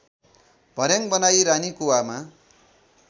भर्‍याङ बनाई रानीकुवामा